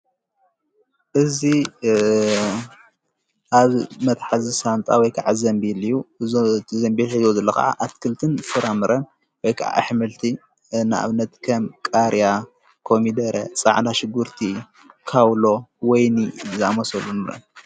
እዙ ኣብ መትሕዝሳንጣ ወይከዓ ዘንቢል እዩ ዞቲ ዘንብል ሕዶ ዘለ ኸዓ ኣትክልትን ፍራምረ ወይከዓ ኣኅምልቲ ንእብነት ከም ቃርያ ኮሚደረ ፃዓና ሽጉርቲ ካውሎ ወይኒ ዛመሶሉን እዬም።